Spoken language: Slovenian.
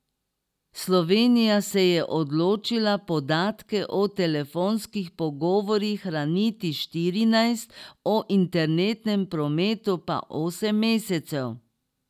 Slovenija se je odločila podatke o telefonskih pogovorih hraniti štirinajst, o internetnem prometu pa osem mesecev.